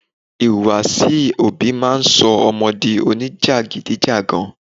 Ìhùwàsí òbí máa ń sọ ọmọ di onijagidijagan.